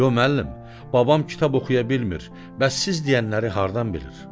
Yox müəllim, babam kitab oxuya bilmir, bəs siz deyənləri hardan bilir?